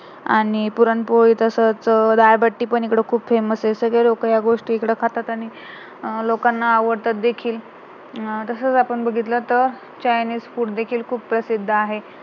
आणि पुरणपोळी तसंच डाळबट्टी पण इकडे famouse आहे, हे सगळे लोक ह्या गोष्टी इकडे खातात आणि लोकांना आवडतात देखील अं तसाच आपण बघितलं तर chinese food हि खूप प्रसिद्ध आहे